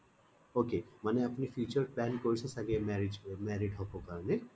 ok আপুনি future ত marriage married হব কাৰণে